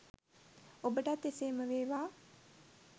ඔබටත් එසේම වේවා!